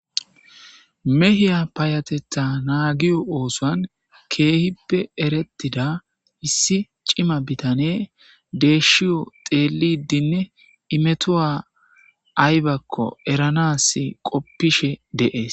Mehiya payateta nagiyo osuwan kehipe eretida issi c'ima bitaney deshiyo dhelidinne imetuwa aybako eranas qopishe de'es.